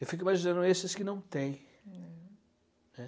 Eu fico imaginando esses que não tem, né.